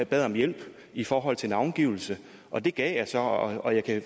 bad om hjælp i forhold til navngivelse og det gav jeg så og og jeg kan